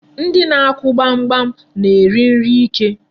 Ndị na-akụ gbamgbam na-eri nri ike.